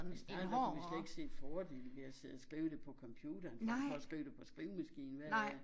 Når man startede der kunne man slet ikke se fordelen ved at sidde og skrive det på computeren frem for at skrive det på skrivemaskine hvad